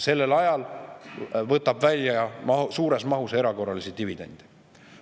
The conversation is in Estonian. Sellel ajal võtab ta välja suures mahus erakorralisi dividende.